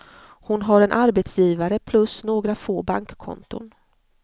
Hon har en arbetsgivare plus några få bankkonton.